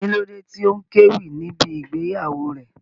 Kí ló dé tí ó kéwì ní ibí ìgbéyàwó rẹ̀?